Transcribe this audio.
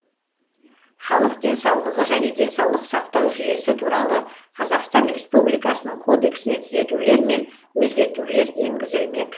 халық денсаулығы және денсаулық сақтау жүйесі туралы қазақстан республикасының кодексіне түзетулер мен өзгертулер енгізілмек